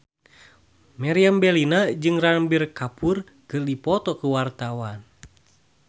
Meriam Bellina jeung Ranbir Kapoor keur dipoto ku wartawan